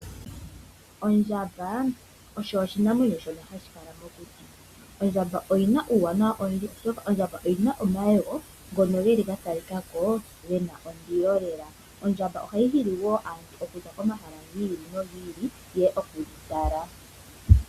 Ondjamba osho oshinamwenyo shono hashi kala mokuti. Ondjamba oyina uuwanawa owindji oshoka oyina omayego ngono geli ga tali ka ko gena ondilo lela Ondjamba ohayi hili wo aataleli ya za komahala go ili nogi ili yeye okuyi tala.